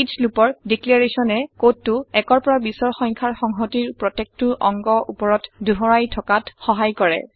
ইচ লুপৰ ডিক্লেৰেছনে ঘোষণাই কডটো ১ৰ পৰা ২০ৰ সংখ্যাৰ সংহতিৰ প্ৰত্যেকটো অংগৰ উপৰত দোহাৰাই থকাত সহাই কৰে